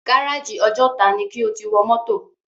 Gáràjì Ọjọ́ta ni kí o ti wọ mọ́tò!